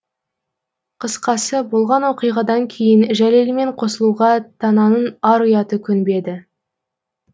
қысқасы болған оқиғадан кейін жәлелмен қосылуға тананың ар ұяты көнбеді